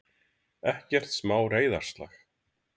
Ekkert smá reiðarslag!